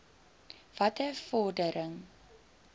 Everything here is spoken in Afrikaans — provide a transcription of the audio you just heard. watter vordering